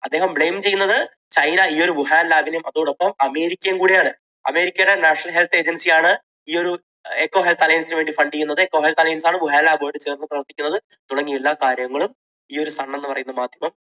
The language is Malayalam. അദ്ദേഹം blame ചെയ്യുന്നത് ചൈന ഈ ഒരു വുഹാൻ lab നെയും അതോടൊപ്പം അമേരിക്കയെയും കൂടിയാണ്. അമേരിക്കയുടെ national health agency യാണ് ഈയൊരു eco health alliance നു വേണ്ടി fund ചെയ്യുന്നത് eco health alliance ആണ് വുഹാൻ lab മായി ചേർന്ന് പ്രവർത്തിക്കുന്നത് തുടങ്ങിയുള്ള കാര്യങ്ങളും ഈയൊരു sun എന്ന് പറയുന്ന മാധ്യമം